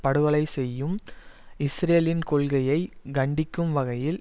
படுகொலை செய்யும் இஸ்ரேலின் கொள்கையை கண்டிக்கும் வகையில்